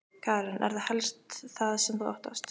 Karen: Er það helst það sem þú óttast?